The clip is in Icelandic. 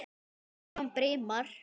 Þetta er hann Brimar.